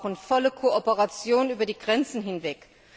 Wir brauchen volle Kooperation über die Grenzen hinweg.